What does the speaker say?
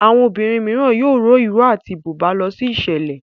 Àwọn obìrin míràn yóò rọ iró àti buba ló sí iṣẹlẹ.